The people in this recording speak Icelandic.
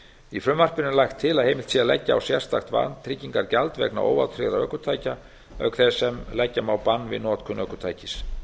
í frumvarpinu er lagt til að heimilt sé að leggja á sérstakt vantryggingagjald vegna óvátryggðra ökutækja auk þess sem leggja má bann við notkun ökutækis